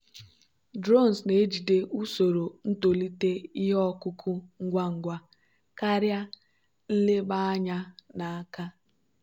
drones na-ejide usoro ntolite ihe ọkụkụ ngwa ngwa karịa nleba anya n'aka.